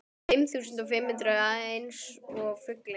Fimm þúsund og fimm hundruð eins og fuglinn.